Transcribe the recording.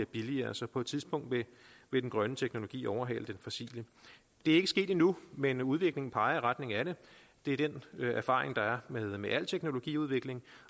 billigere så på et tidspunkt vil den grønne teknologi overhale den fossile det er ikke sket endnu men udviklingen peger i retning af det det er den erfaring der er med al teknologiudvikling